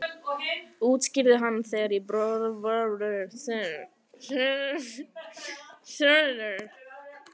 útskýrði hann, þegar ég borða seint.